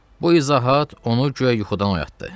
Bu izahat onu güya yuxudan oyatdı.